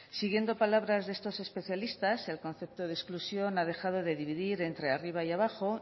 siguiendo palabras de estos especialistas el concepto de exclusión ha dejado de dividir entre arriba y abajo